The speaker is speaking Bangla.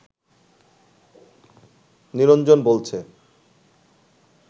নিরঞ্জন বলছে